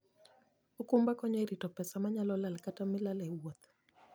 okumba konyo e rito pesa manyalo lal kata milal e wuoth.